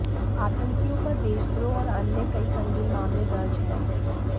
आतंकियों पर देशद्रोह और अन्य कई संगीन मामले दर्ज है